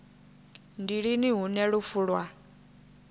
ndi lini hune lufu lwa